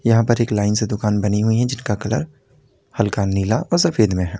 यहां पर एक लाइन से दुकान बनी हुई हैं जिनका कलर हल्का नीला और सफेद में है।